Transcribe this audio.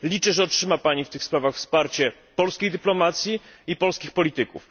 Liczę, że otrzyma Pani w tych sprawach wsparcie polskiej dyplomacji i polskich polityków.